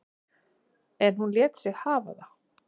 En hún lét sig hafa það.